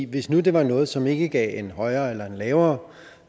hvis nu det var noget som ikke gav en højere eller lavere